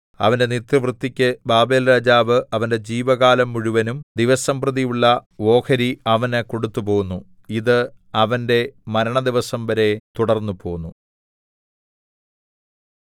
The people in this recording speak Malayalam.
അവന്റെ നിത്യവൃത്തിയ്ക്ക് ബാബേൽരാജാവ് അവന്റെ ജീവകാലം മുഴുവനും ദിവസംപ്രതിയുള്ള ഓഹരി അവന് കൊടുത്തുപോന്നു ഇത് അവന്റെ മരണദിവസം വരെ തുടർന്നുപോന്നു